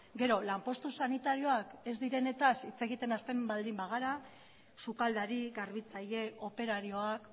gero lanpostu sanitarioak ez direnetaz hitz egiten hasten baldin bagara sukaldari garbitzaile operarioak